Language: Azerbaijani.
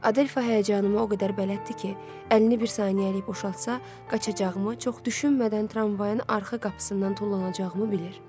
Adelfa həyəcanımı o qədər bələddir ki, əlini bir saniyəlik boşaltsa, qaçacağımı, çox düşünmədən tramvaydan arxa qapısından tullanacağımı bilir.